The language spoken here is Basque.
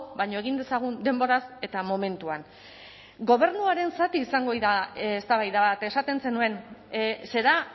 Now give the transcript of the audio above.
baina egin dezagun denboraz eta momentuan gobernuaren zati izango da eztabaida bat esaten zenuen será